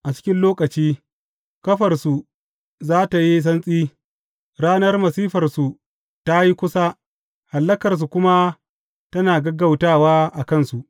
A cikin lokaci, ƙafarsu za tă yi santsi; ranar masifarsu ta yi kusa hallakarsu kuma tana gaggautawa a kansu.